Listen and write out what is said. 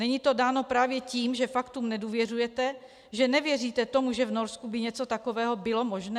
Není to dáno právě tím, že faktům nedůvěřujete, že nevěříte tomu, že v Norsku by něco takového bylo možné?